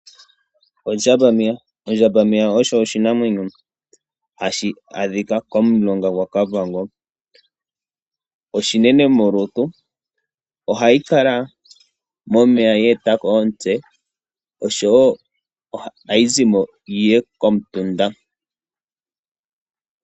Ondjambameya osho oshinamwenyo hashi adhika komulonga gwakavango. Oshinene molutu ohayi kala momeya ye etako omutse no showo ohayi zimo yi ye komutunda.